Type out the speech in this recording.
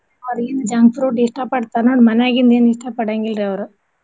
ಹೊರಗಿನ್ junk food ಇಷ್ಟ ಪಡ್ತಾನ್ ನೋಡ್ ಮನ್ಯಾಗಿಂದ್ ಎನ್ ಇಷ್ಟ ಪಡಂಗಿಲ್ ರೀ ಅವ್ರು.